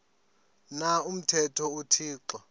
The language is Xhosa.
na umthetho uthixo